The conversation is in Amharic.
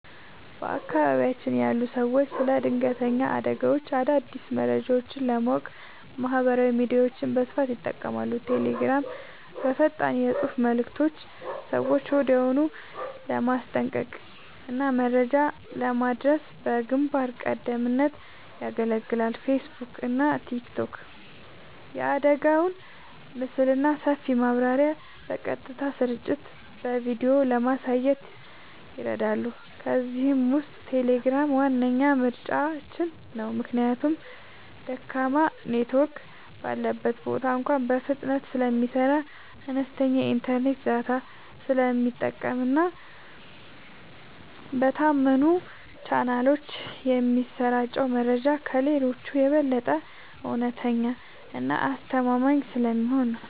በአካባቢያችን ያሉ ሰዎች ስለ ድንገተኛ አደጋዎችና አዳዲስ መረጃዎች ለማወቅ ማህበራዊ ሚዲያዎችን በስፋት ይጠቀማሉ። ቴሌግራም፦ በፈጣን የፅሁፍ መልዕክቶች ሰዎችን ወዲያውኑ ለማስጠንቀቅና መረጃ ለማድረስ በግንባር ቀደምትነት ያገለግላል። ፌስቡክና ቲክቶክ፦ የአደጋውን ምስልና ሰፊ ማብራሪያ በቀጥታ ስርጭትና በቪዲዮ ለማየት ይረዳሉ። ከእነዚህ ውስጥ ቴሌግራም ዋነኛ ምርጫችን ነው። ምክንያቱም ደካማ ኔትወርክ ባለበት ቦታ እንኳ በፍጥነት ስለሚሰራ፣ አነስተኛ የኢንተርኔት ዳታ ስለሚጠቀምና በታመኑ ቻናሎች የሚሰራጨው መረጃ ከሌሎቹ የበለጠ እውነተኛና አስተማማኝ ስለሚሆን ነው።